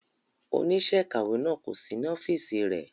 Oníṣẹ́ ìkàwé náà kò sí ní ọ́fíìsì rẹ̀.